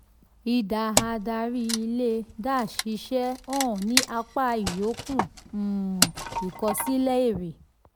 idà adarí ilé dash iṣẹ́ hàn ní apá ìyókùn um ìkọsílẹ̀ èrè.